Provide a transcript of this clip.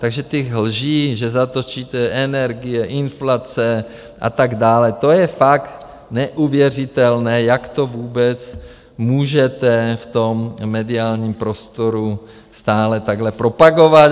Takže ty lži, že zatočíte - energie, inflace a tak dále, to je fakt neuvěřitelné, jak to vůbec můžete v tom mediálním prostoru stále takhle propagovat.